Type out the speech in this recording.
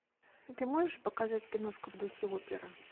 ты можешь показать киношку в духе оперы